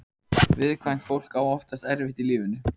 Viðkvæmt fólk á oftast erfitt í lífinu.